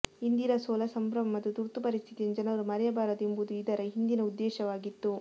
ಇಂದಿರಾ ಸೋಲ ಸಂಭ್ರಮ ಮತ್ತು ತುರ್ತು ಪರಿಸ್ಥಿತಿಯನ್ನು ಜನರು ಮರೆಯಬಾರದು ಎಂಬುದು ಇದರ ಹಿಂದಿನ ಉದ್ದೇಶವಾಗಿತ್ತು